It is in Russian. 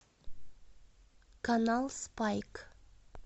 канал спайк